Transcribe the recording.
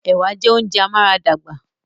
Ẹ̀wà jẹ́ oúnjẹ amáradàgbà